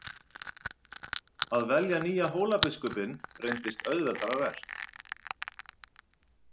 Að velja nýja Hólabiskupinn reyndist auðveldara verk.